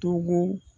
Togo